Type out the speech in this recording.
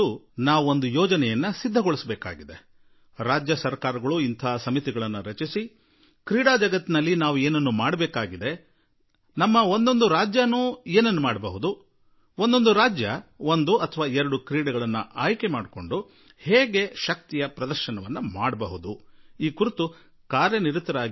ಇಂತಹುದೇ ಸಮಿತಿಗಳನ್ನು ರಚಿಸಿ ಎಂದು ನಾನು ರಾಜ್ಯ ಸರ್ಕಾರಗಳನ್ನು ಆಗ್ರಹಪಡಿಸುವೆ ಮತ್ತು ಕ್ರೀಡಾ ಜಗತ್ತಿನಲ್ಲಿ ನಾವು ಏನು ಮಾಡಬಹುದು ನಮ್ಮ ಪ್ರತಿಯೊಂದು ರಾಜ್ಯವೂ ಏನು ಬಾಡಬಲ್ಲದು ರಾಜ್ಯಗಳು ಒಂದೆರಡು ಆಟಗಳನ್ನು ಆರಿಸಿಕೊಳ್ಳಲಿ ಅವಕ್ಕೆ ಏನು ಬಲ ತುಂಬಬಹುದು ಎಂಬುದನ್ನು ಆಲೋಚಿಸಲಿ